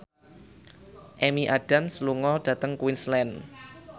Amy Adams lunga dhateng Queensland